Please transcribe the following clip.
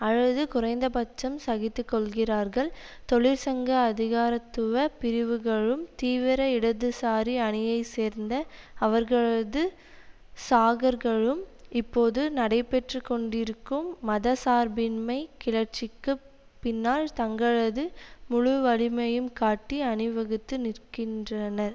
அல்லது குறைந்த பட்சம் சகித்து கொள்கிறார்கள் தொழிற்சங்க அதிகாரத்துவ பிரிவுகளும் தீவிர இடதுசாரி அணியைச்சேர்ந்த அவர்களது சாகர்களும் இப்போது நடைபெற்று கொண்டிருக்கும் மத சார்பின்மை கிளர்ச்சிக்கு பின்னால் தங்களது முழுவலிமையும் காட்டி அணிவகுத்து நின்க்கின்றனர்